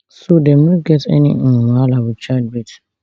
so dem no go get any um wahala wit childbirth